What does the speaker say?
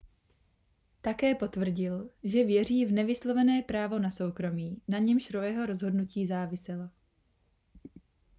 také potvrdil že věří v nevyslovené právo na soukromí na němž roeho rozhodnutí záviselo